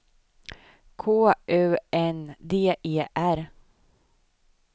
K U N D E R